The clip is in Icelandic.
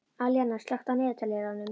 Alíana, slökktu á niðurteljaranum.